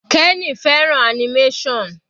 Kenny fẹ́ràn animation.